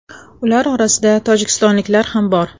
Ular orasida tojikistonliklar ham bor.